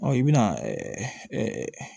i bɛna